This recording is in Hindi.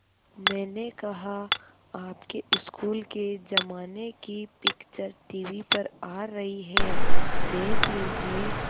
मैंने कहा आपके स्कूल के ज़माने की पिक्चर टीवी पर आ रही है देख लीजिये